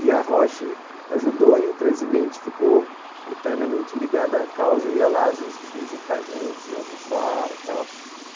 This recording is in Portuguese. E a Roche ajudou e o presidente ficou eternamente ligado à causa, ia lá às vezes visitar a gente, almoçar e tal.